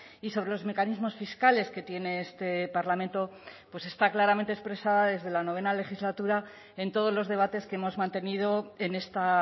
y sobre los mecanismos fiscales que tiene este parlamento pues está claramente expresada desde la novena legislatura en todos los debates que hemos mantenido en esta